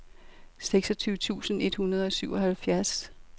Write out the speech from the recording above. seksogtyve tusind et hundrede og syvoghalvfjerds